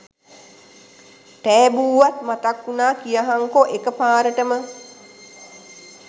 ටැබූවත් මතක් වුනා කියහන්කො එක පාරටම